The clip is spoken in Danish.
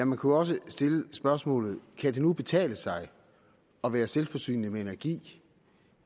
man kunne også stille spørgsmålene kan det nu betale sig at være selvforsynende med energi